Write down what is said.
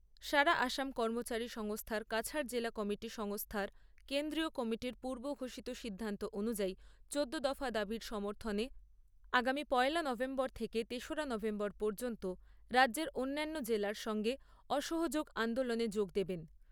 সারা আসাম কর্মচারী সংস্থার কাছাড় জেলা কমিটি সংস্থার কেন্দ্রীয় কমিটির পূর্ব ঘোষিত সিদ্ধান্ত অনুযায়ী চোদ্দো দফা দাবীর সমর্থনে আগামী পয়লা নভেম্বর থেকে তেসরা নভেম্বর পর্যন্ত রাজ্যের অন্যান্য জেলার সঙ্গে অসহযোগ আন্দোলনে যোগ দেবেন।